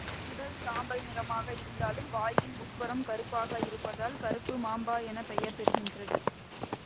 உடல் சாம்பல் நிறமாக இருதாலும் வாயின் உட்புறம் கருப்பாக இருப்பதால் கருப்பு மாம்பா என பெயர் பெறுகின்றது